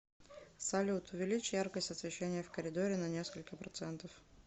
салют увеличь яркость освещения в коридоре на несколько процентов